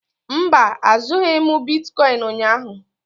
Mba, azụghị m bitkọịn ụnyaahụ.